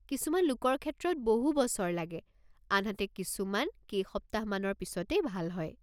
কিছুমান লোকৰ ক্ষেত্ৰত বহু বছৰ লাগে, আনহাতে কিছুমান কেইসপ্তাহমানৰ পিছতেই ভাল হয়।